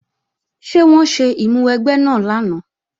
Ṣé wọ́n ṣe ìmúwẹgbẹ́ náà lánàá?